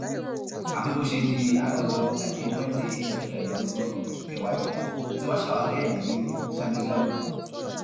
àfi bó ṣe di àárọ ọjọ ajé monde ọjọ kẹrìndínlọgbọn oṣù kẹwàá yìí tí wọn ṣàwárí ẹ ní ṣámégámù